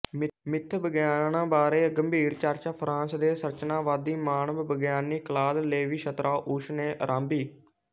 ਮਿੱਥ ਵਿਗਿਆਨ ਬਾਰੇ ਗੰਭੀਰ ਚਰਚਾ ਫ਼ਰਾਂਸ ਦੇ ਸੰਰਚਨਾਵਾਦੀ ਮਾਨਵ ਵਿਗਿਆਨੀ ਕਲਾਦ ਲੇਵੀ ਸਤ੍ਰਾਉਸ ਨੇ ਆਰੰਭੀ